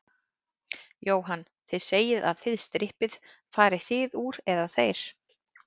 Jóhann: Þið segið að þið strippið, farið þið úr, eða þeir?